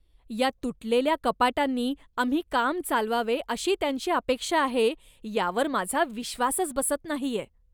या तुटलेल्या कपाटांनी आम्ही काम चालवावे अशी त्यांची अपेक्षा आहे यावर माझा विश्वासच बसत नाहीये.